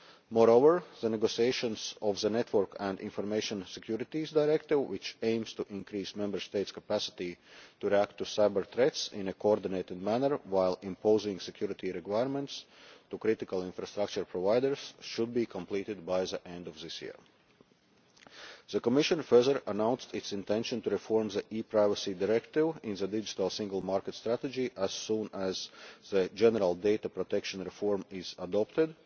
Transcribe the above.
Moreover, the negotiations of the Network and Information Securities Directive, which aims to increase Member States' capacity to react to cyber threats in a coordinated manner while imposing security requirements on critical infrastructure providers, should be completed by the end of this year. The Commission further announced its intention to reform the ePrivacy Directive in the Digital Single Market strategy as soon as the general data protection reform has been adopted,